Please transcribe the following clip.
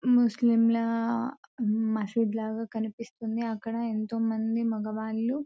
ముస్లింల మసీదు లాగా కనిపిస్తుంది అక్కడ ఎంతోమంది మగవాళ్లు --